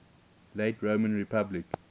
late roman republic